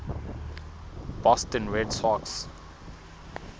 boston red sox